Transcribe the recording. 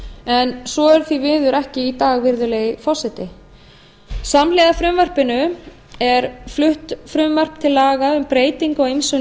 en svo er því miður ekki í dag virðulegi forseti samhliða frumvarpinu er flutt frumvarp til laga um breytingu á ýmsum